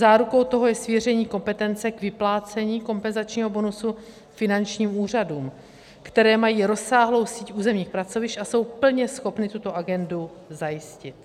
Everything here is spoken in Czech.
Zárukou toho je svěření kompetence k vyplácení kompenzačního bonusu finančním úřadům, které mají rozsáhlou síť územních pracovišť a jsou plně schopny tuto agendu zajistit.